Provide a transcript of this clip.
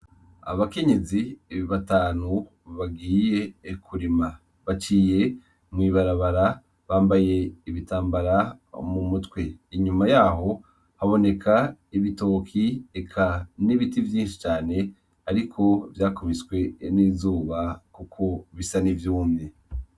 Abakinyizi ibibatanu bagiye ekurima baciye mwibarabara bambaye ibitambara mu mutwe inyuma yaho haboneka ibitoki eka n'ibiti vyinshi cane, ariko vyakubiswe n'izuba, kuko bisa nivyumye.